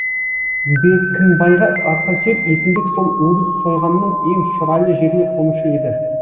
беркімбайға арқа сүйеп есімбек сол өгіз сойғанның ең шұрайлы жеріне қонушы еді